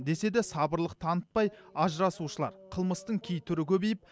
десе де сабырлық танытпай ажырасушылар қылмыстың кей түрі көбейіп